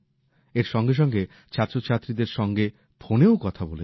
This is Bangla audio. এর সঙ্গে সঙ্গে তিনি ছাত্রছাত্রীদের সঙ্গে ফোনেও কথা বলেছেন